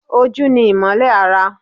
Ojú ni imole ara.